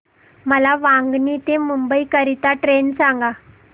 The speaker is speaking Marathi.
मला वांगणी ते मुंबई करीता ट्रेन सांगा